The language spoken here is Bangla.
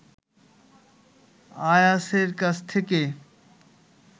আয়াছের কাছ থেকে